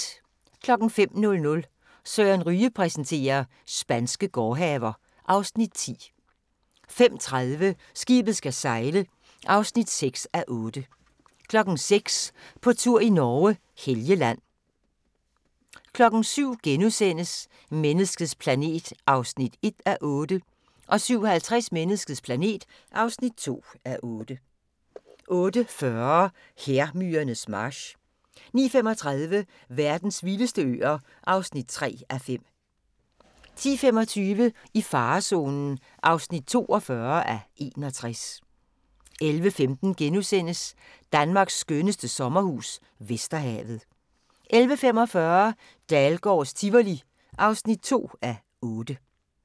05:00: Søren Ryge præsenterer: Spanske gårdhaver (Afs. 10) 05:30: Skibet skal sejle (6:8) 06:00: På tur i Norge: Helgeland 07:00: Menneskets planet (1:8)* 07:50: Menneskets planet (2:8) 08:40: Hærmyrernes march 09:35: Verdens vildeste øer (3:5) 10:25: I farezonen (42:61) 11:15: Danmarks skønneste sommerhus - Vesterhavet * 11:45: Dahlgårds Tivoli (2:8)